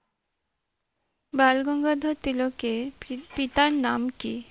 বালগঙ্গাধর তিলকের পিতার নাম কী?